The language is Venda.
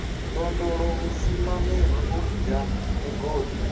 ndondolo vhusimamiri u bwa migodi